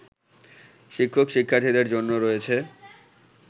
শিক্ষক-শিক্ষার্থীদের জন্য রয়েছে